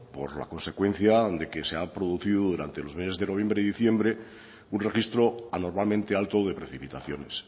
por la consecuencia de que se ha producido durante los meses de noviembre y diciembre un registro anormalmente alto de precipitaciones